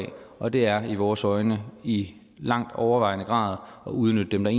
og det er i vores øjne i langt overvejende grad at udnytte dem der